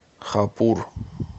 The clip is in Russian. хапур